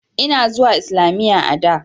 Ina zuwa islamiyya a da.